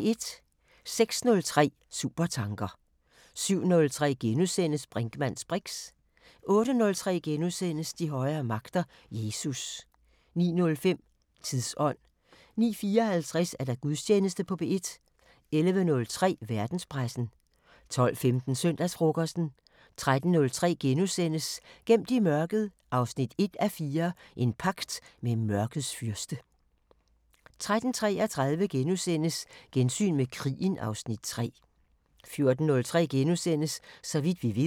06:03: Supertanker 07:03: Brinkmanns briks * 08:03: De højere magter: Jesus * 09:05: Tidsånd 09:54: Gudstjeneste på P1 11:03: Verdenspressen 12:15: Søndagsfrokosten 13:03: Gemt i mørket 1:4 – En pagt med mørkets fyrste * 13:33: Gensyn med krigen (Afs. 3)* 14:03: Så vidt vi ved *